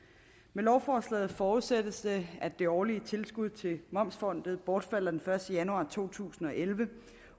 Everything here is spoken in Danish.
med lovforslaget forudsættes det at det årlige tilskud til momsfondet bortfalder den første januar to tusind og elleve